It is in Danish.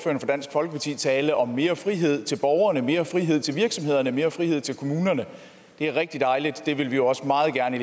folkeparti tale om mere frihed til borgerne mere frihed til virksomhederne mere frihed til kommunerne det er rigtig dejligt for det vil vi også meget gerne